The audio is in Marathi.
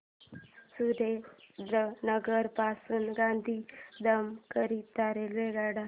सुरेंद्रनगर पासून गांधीधाम करीता रेल्वेगाड्या